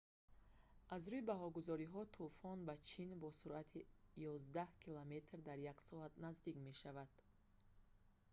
аз рӯи баҳогузориҳо тӯфон ба чин бо суръати ёздаҳ километр дар як соат наздик мешавад